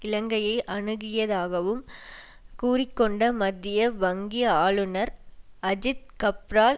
இலங்கையை அணுகியதாகவும் கூறி கொண்ட மத்திய வங்கி ஆளுனர் அஜித் கப்ரால்